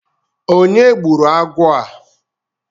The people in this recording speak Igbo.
Onye gburu agwọ á?